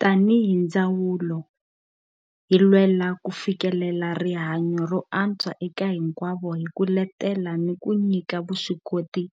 Tanihi ndzawulo, hi lwela ku fikelela rihanyo ro antswa eka hinkwavo hi ku letela ni ku nyika vuswikoti